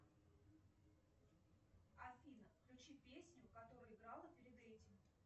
афина включи песню которая играла перед этим